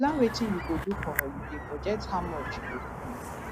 to plan wetin you go do for holiday budget how much you go spend